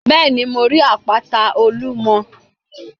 Bẹ́ẹ̀ni, mo rí àpáta Olúmo